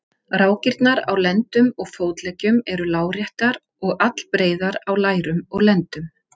Fólkið þjáðist af öndunarerfiðleikum og ógleði